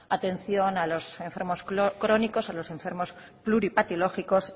atención a los enfermos crónicos a los enfermos pluripatológicos